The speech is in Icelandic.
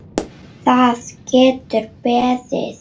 Það getur beðið.